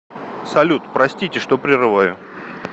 салют простите что прерываю